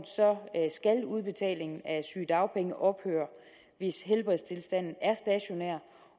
skal udbetalingen af sygedagpenge ophøre hvis helbredstilstanden er stationær